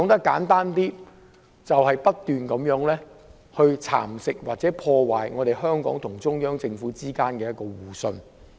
簡單而言，就是不斷蠶食或破壞香港與中央政府之間的互信。